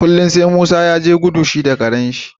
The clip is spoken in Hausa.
kullun sai Musa yaje gudu shi da Karen shi